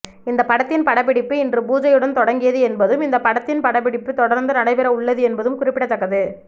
இந்த படத்தின் படப்பிடிப்பு இன்று பூஜையுடன் தொடங்கியது என்பதும் இந்த படத்தின் படப்பிடிப்பு தொடர்ந்து நடைபெற உள்ளது என்பதும் குறிப்பிடத்தக்கது